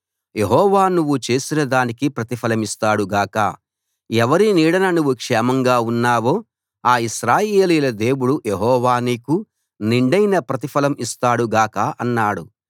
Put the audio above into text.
యెహోవా నువ్వు చేసిన దానికి ప్రతిఫలమిస్తాడు గాక ఎవరి నీడన నువ్వు క్షేమంగా ఉన్నావో ఆ ఇశ్రాయేలీయుల దేవుడు యెహోవా నీకు నిండైన ప్రతిఫలం ఇస్తాడు గాక అన్నాడు